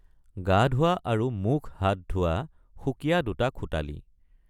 গা ধোৱা আৰু মুখহাত ধোৱা সুকীয়া দুটা খোটালি।